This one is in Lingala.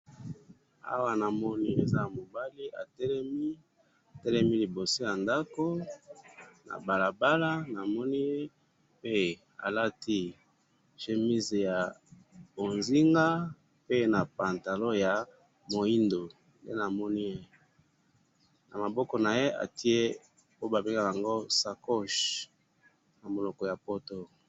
awa namoni eza mobali atelemi liboso ya ndaku na balabala pe alati chemise ya bozinga pe na pantalon ya moido nama bongo naye atie sacoche na monoko ya poto